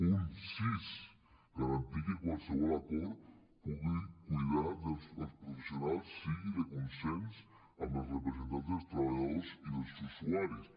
punt sis garantir que qualsevol acord per cuidar els professionals sigui de consens amb els representants dels treballadors i dels usuaris